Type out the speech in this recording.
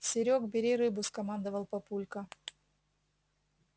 серёг бери рыбу скомандовал папулька